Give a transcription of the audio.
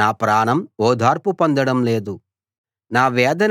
నా ప్రాణం ఓదార్పు పొందడం లేదు